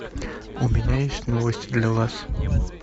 у меня есть новость для вас